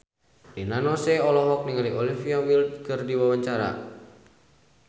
Rina Nose olohok ningali Olivia Wilde keur diwawancara